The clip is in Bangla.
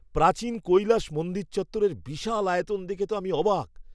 প্রাচীন কৈলাস মন্দির চত্বরের বিশাল আয়তন দেখে তো আমি অবাক!